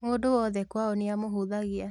Mũndũ wothe kwao nĩamũhũthagia